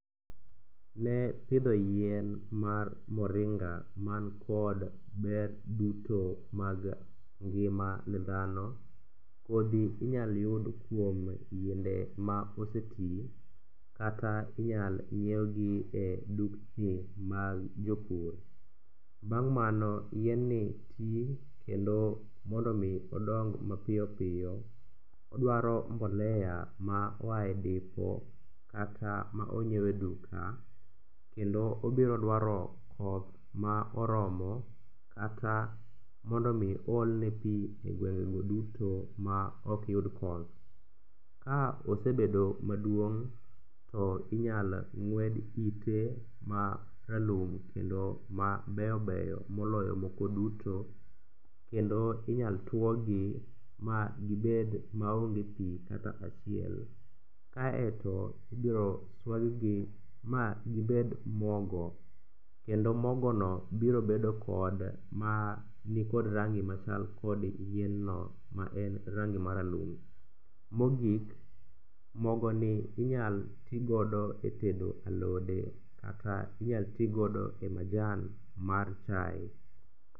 Ne pidho yien mar moringa man kod ber duto mag ngima ne dhano, kodhi inyal yudo kuom yiende ma oseti kata inyal nyiewgi e dukni mag jopur. Bang' mano yienni ti kendo mondo omi odong mapiyopiyo odwaro mbolea ma oae dipo kata ma onyiew e duka kendo obiro dwaro koth ma oromo kata mondo omi oolne pi e gwengego duto ma okyud koth. Ka osebedo maduong', to inyal ng'wed ite maralum kendo ma beyo beyo moloyo moko duto kendo inyal twogi ma gibed maonge pi kata achiel. Kaeto ibiro swaggi ma gibed mogo kendo mogono biro bedo kod manikod rangi machal kod yienno maen rangi maralum. Mogik, mogoni inyal tigodo e tedo alode kata inyal tigodo e majan mar chae.